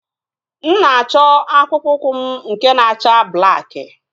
Mụ na-achọ akpụkpọ ụkwụ m nke na-acha blakị